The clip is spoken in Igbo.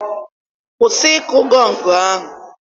kwụsị ịkụ gọngụ ahụ!